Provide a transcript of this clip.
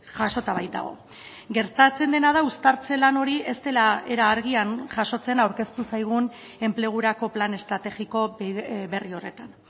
jasota baitago gertatzen dena da uztartze lan hori ez dela era argian jasotzen aurkeztu zaigun enplegurako plan estrategiko berri horretan